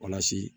Walasa